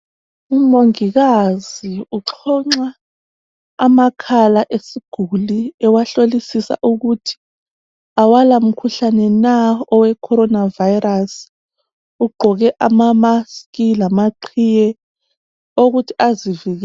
Umongikazi uxhonxa amakhala esiguli ewahlolisisa ukuthi awalamkhuhlane na oweCorona Virus. Ugqoke amamask lamaqhiye awokuthi azivikele.